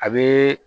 A bɛ